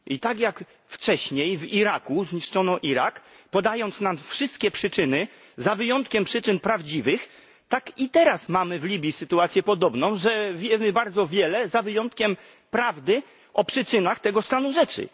I tak jak wcześniej w Iraku zniszczono Irak, podając nam wszystkie przyczyny za wyjątkiem przyczyn prawdziwych, tak i teraz mamy w Libii sytuację podobną, że wiemy bardzo wiele za wyjątkiem prawdy o przyczynach tego stanu rzeczy.